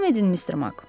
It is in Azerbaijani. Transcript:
Davam edin Mr. Mak.